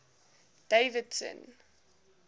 davidson